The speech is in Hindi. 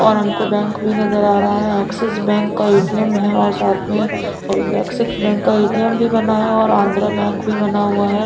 और हमको बैंक भी नजर आ रहा है एक्सेस बैंक का ए_टी_ऍम है और साथ में एक्सेस बैंक का ए_टी_एम भी बना है आंध्र बैंक भी बना हुआ है।